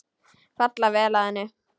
Falla vel að henni.